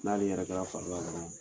N'ale yɛrɛ kɛra fari la dɔrɔn